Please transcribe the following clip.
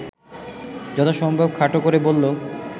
যথাসম্ভব খাটো করে বলল